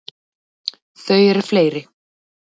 Þau eru fleiri.